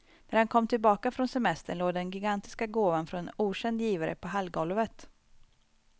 När han kom tillbaka från semestern låg den gigantiska gåvan från en okänd givare på hallgolvet.